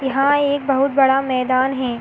यह एक बहुत बड़ा मैदान हैं।